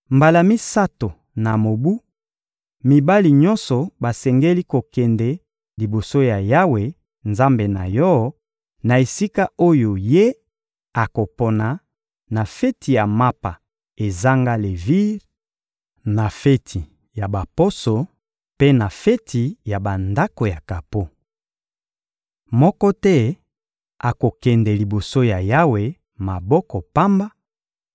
Mbala misato na mobu, mibali nyonso basengeli kokende liboso ya Yawe, Nzambe na yo, na esika oyo Ye akopona: na feti ya Mapa ezanga levire, na feti ya Baposo, mpe na feti ya Bandako ya kapo. Moko te akokende liboso ya Yawe, maboko pamba: